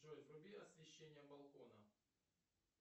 джой вруби освещение балкона